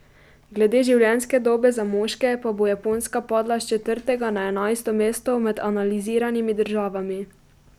Glede življenjske dobe za moške pa bo Japonska padla s četrtega na enajsto mesto med analiziranimi državami.